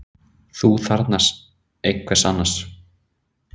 Ferðinni er heitið til Alþjóðlegu geimstöðvarinnar